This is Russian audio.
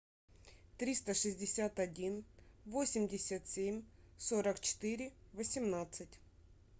триста шестьдесят один восемьдесят семь сорок четыре восемнадцать